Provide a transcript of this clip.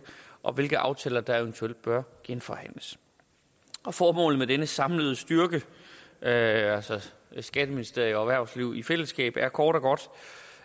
og hvilke aftaler der eventuelt bør genforhandles formålet med denne samlede styrke altså skatteministeriet og erhvervsliv i fællesskab er kort og godt